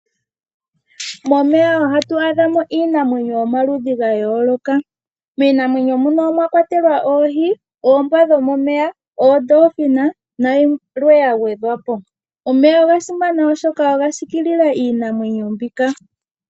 Momeya ohatu adhamo iinamwenyo yomaludhi ga yooloka. Miinamwenyo moka omwa kwatelwa oohi, oombwa dhomomeya, oodolphin na yilwe ya gwedhwapo. Omeya oga simana oshoka oga sikilila iinamwenyo mbika.